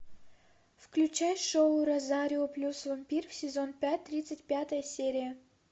включай шоу розарио плюс вампир сезон пять тридцать пятая серия